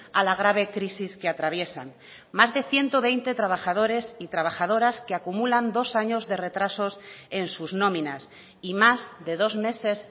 a la grave crisis que atraviesan más de ciento veinte trabajadores y trabajadoras que acumulan dos años de retrasos en sus nóminas y más de dos meses